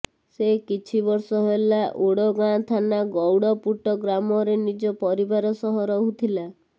ସେ କିଛିବର୍ଷ ହେଲା ଓଡ଼ଗାଁ ଥାନା ଗୌଡ଼ପୁଟ ଗ୍ରାମରେ ନିଜ ପରିବାର ସହ ରହୁଥିଲା